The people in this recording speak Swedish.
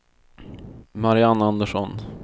Mariann Andersson